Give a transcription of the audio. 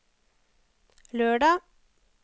lørdag